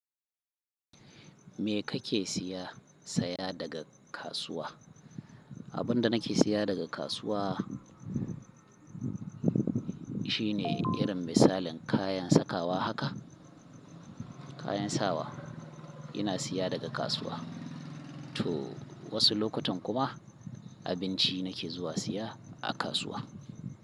Me kake siya, saya daga kasuwa? Abin da nake siya daga kasuwa shine irin misalin kayan sakawa haka, kayan sawa ina siya daga kasuwa to wasu lokutan kuma abinci nake zuwa siya a kasuwa.